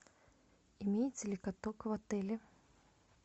имеется ли каток в отеле